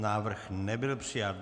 Návrh nebyl přijat.